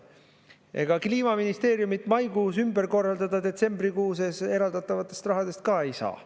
Ega Kliimaministeeriumit maikuus ümber korraldada detsembrikuus eraldatavast rahast ka ei saa.